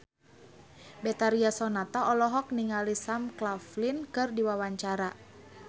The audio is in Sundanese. Betharia Sonata olohok ningali Sam Claflin keur diwawancara